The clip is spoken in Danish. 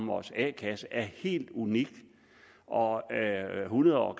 vores a kasser er helt unik og hundred år